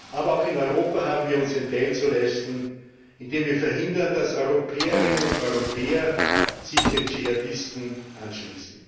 Aber auch in Europa haben wir unseren Teil zu leisten, indem wir verhindern, dass Europäerinnen und Europäer sich den Dschihadisten anschließen.